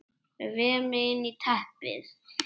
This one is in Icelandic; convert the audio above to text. Vef mig inn í teppið.